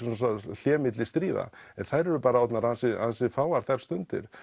hlé milli stríða en þær eru orðnar ansi ansi fáar þær stundir